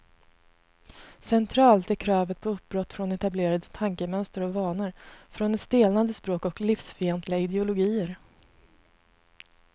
Centralt är kravet på uppbrott från etablerade tankemönster och vanor, från ett stelnande språk och livsfientliga ideologier.